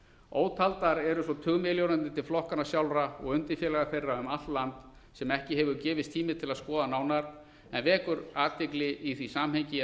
ótaldar eru svo tugmilljónirnar til flokkanna sjálfra og undirfélaga þeirra um allt land sem ekki hefur gefist tími til að skoða nánar en vekur athygli í því samhengi að